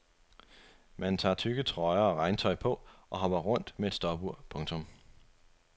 Man tager tykke trøjer og regntøj på og hopper rundt med et stopur. punktum